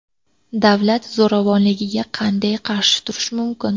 Davlat zo‘ravonligiga qanday qarshi turish mumkin?